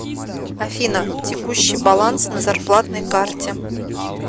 афина текущий баланс на зарплатной карте